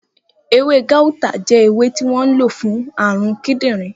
Ewé gáútà jẹ́ ewé tí wọ́n lo fún àrùn kídìnrín